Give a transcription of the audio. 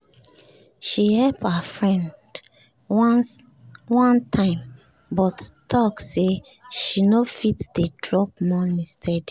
she help her friend one time but talk say she no fit dey drop money steady